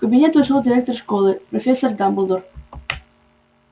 в кабинет вошёл директор школы профессор дамблдор